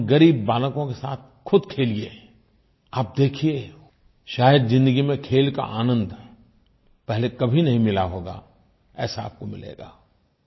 उन ग़रीब बालकों के साथ ख़ुद खेलिये आप देखिये शायद् ज़िंदगी में खेल का आनंद पहले कभी नहीं मिला होगा ऐसा आपको मिलेगा